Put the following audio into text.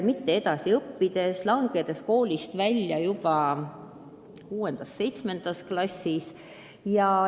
Nad ei õpi, on koolist välja langenud juba 6.-7. klassis.